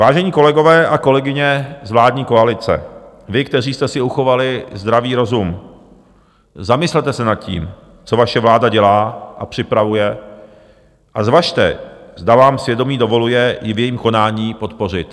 Vážení kolegové a kolegyně z vládní koalice, vy, kteří jste si uchovali zdravý rozum, zamyslete se nad tím, co vaše vláda dělá a připravuje, a zvažte, zda vám svědomí dovoluje ji v jejím konání podpořit.